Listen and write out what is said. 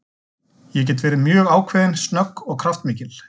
Ég get verið mjög ákveðin, snögg og kraftmikil.